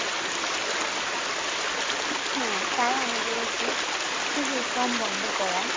হ্যাঁ তাই আমাদের উচিত শিশু শ্রম বন্ধ করা